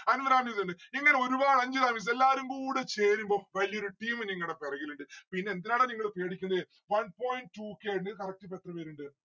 അൻവറാ miss ഇണ്ട് ഇങ്ങനെ ഒരുപാട് അഞ്ജന miss എല്ലാവരും കൂടെ ചേരുമ്പം വലിയൊരു team ഞ്ഞിങ്ങടെ പെറകിലിണ്ട്‌ പിന്നെ എന്തിനാടാ നിങ്ങള് പേടിക്കുന്നെ one point two k ഇണ്ട് ഇത് correct ഇപ്പൊ എത്ര പേരിണ്ട്‌?